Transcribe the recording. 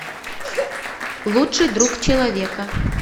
лучший друг человека